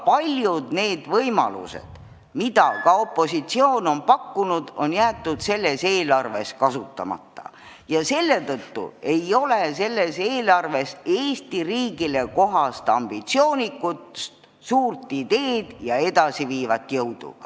Paljud võimalused, mida ka opositsioon on pakkunud, on jäetud tuleva aasta eelarves kasutamata ja nii ei ole selles eelarves Eesti riigile kohast ambitsioonikust, suurt ideed ja edasiviivat jõudu!